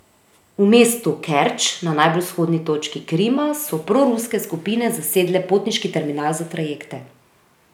V mestu Kerč, na najbolj vzhodni točki Krima, so proruske skupine zasedle potniški terminal za trajekte.